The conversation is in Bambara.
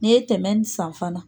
N'i ye tɛmɛ nin san fana